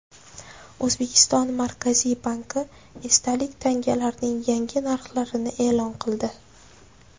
O‘zbekiston Markaziy banki esdalik tangalarning yangi narxlarini e’lon qildi.